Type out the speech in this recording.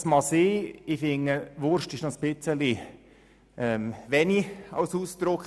Das mag sein, allerdings finde ich, der Begriff «Wurst» ist sehr gelinde ausgedrückt;